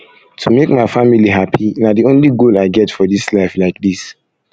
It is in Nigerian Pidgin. to make my family happy na the only goal i get for dis life like dis